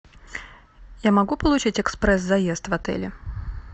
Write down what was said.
я могу получить экспресс заезд в отеле